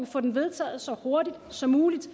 få den vedtaget så hurtigt som muligt